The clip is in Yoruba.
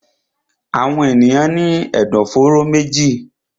Àwọn èèyàn ní